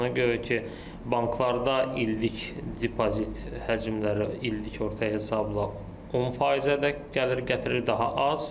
Ona görə ki, banklarda illik depozit həcmləri illik orta hesabla 10%-ədək gəlir gətirir, daha az.